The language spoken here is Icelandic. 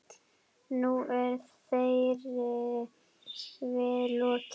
Nú er þeirri bið lokið.